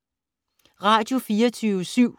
Radio24syv